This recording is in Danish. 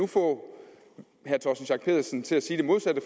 få herre torsten schack pedersen til at sige det modsatte